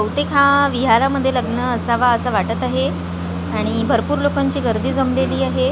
बहुतेक हा विहारामध्ये लग्न असावा असं वाटत आहे आणि भरपूर लोकांची गर्दी जमलेली आहे.